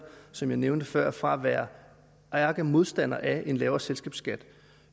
som jeg nævnte før væk fra at være ærkemodstander af en lavere selskabsskat